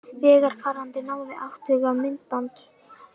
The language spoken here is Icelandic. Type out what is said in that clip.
Vegfarandi náði atvikinu á myndband